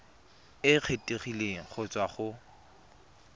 e kgethegileng go tswa go